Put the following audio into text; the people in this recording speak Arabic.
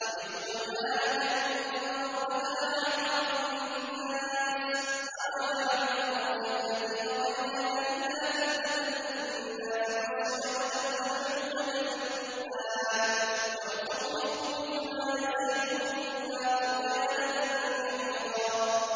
وَإِذْ قُلْنَا لَكَ إِنَّ رَبَّكَ أَحَاطَ بِالنَّاسِ ۚ وَمَا جَعَلْنَا الرُّؤْيَا الَّتِي أَرَيْنَاكَ إِلَّا فِتْنَةً لِّلنَّاسِ وَالشَّجَرَةَ الْمَلْعُونَةَ فِي الْقُرْآنِ ۚ وَنُخَوِّفُهُمْ فَمَا يَزِيدُهُمْ إِلَّا طُغْيَانًا كَبِيرًا